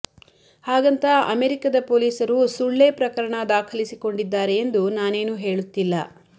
ಹಾಗಂತ ಅಮೆರಿಕದ ಪೊಲೀಸರು ಸುಳ್ಳೇ ಪ್ರಕರಣ ದಾಖಲಿಸಿಕೊಮಡಿದ್ದಾರೆ ಎಂದು ನಾನೇನೂ ಹೇಳುತ್ತಿಲ್ಲ